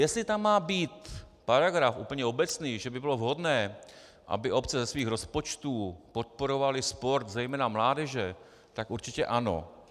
Jestli tam má být paragraf úplně obecný, že by bylo vhodné, aby obce ze svých rozpočtů podporovaly sport, zejména mládeže, tak určitě ano.